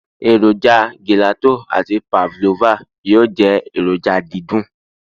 eroja gelato ati pavlova yíò je eroja didun